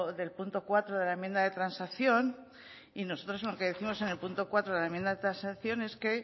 del punto cuatro de la enmienda de transacción y nosotros lo que décimos en el punto cuatro de la enmienda de transacción es que